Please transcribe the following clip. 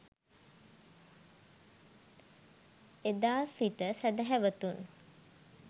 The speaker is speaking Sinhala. එදා සිට සැදැහැවතුන්